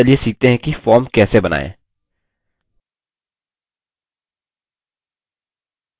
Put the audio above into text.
अब चलिए सीखते हैं कि form कैसे बनायें